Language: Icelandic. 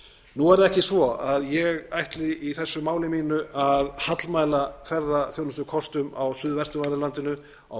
nú er það ekki svo að ég ætli í þessu máli mínu að hallmæla ferðaþjónustukostum á suðvestanverðu landinu á